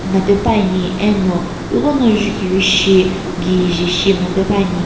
mla pepuani eno ighono jukivi shi kije shi mlapepuani.